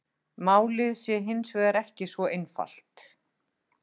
Málið sé hins vegar ekki svo einfalt